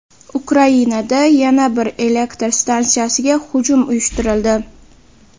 Ukrainada yana bir elektr stantsiyasiga hujum uyushtirildi.